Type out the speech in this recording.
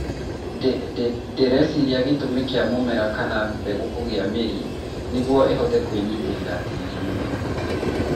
ndĩ, ndĩ, ndĩreciria gĩtũmi kĩa mũmera kana mbegũ kũgĩa mĩri nĩ nĩguo ĩhote kwĩnyitĩrĩra tĩĩrinĩ